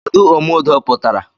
Kedụ omeudo pụtara?